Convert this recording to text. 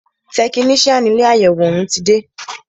Tẹkinician ilé àyẹwò òún ti dé.